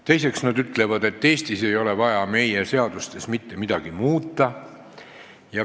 Teiseks, nad ütlevad, et meie seadustes ei ole vaja mitte midagi muuta.